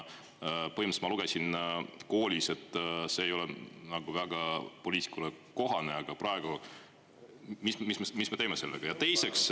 Põhimõtteliselt ma lugesin koolis, et see ei ole nagu väga poliitikule kohane, aga praegu, mis me teeme sellega?